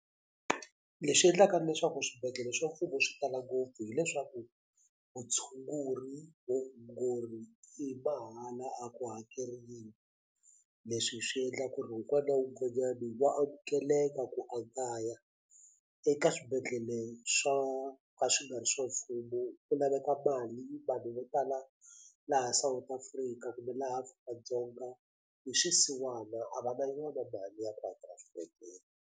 Leswi endlaka leswaku swibedhlele swa mfumo swi tala ngopfu hileswaku vutshunguri vuongori i mahala a ku hakeriwi leswi swi endla ku ri wun'wana wun'wanyani wa amukeleka ku a nga ya eka swibedhlele swo ka swi nga ri swa mfumo ku laveka mali vanhu vo tala laha South Africa kumbe laha Afrika-Dzonga hi swisiwana a va na yona mali ya ku hakela swibedhlele.